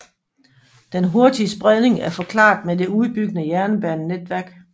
Den hurtige spredning er forklaret med det udbyggede jernbanenetværk